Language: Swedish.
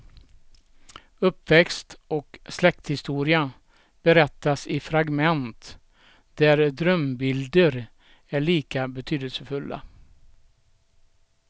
Uppväxt och släkthistoria berättas i fragment där drömbilder är lika betydelsefulla.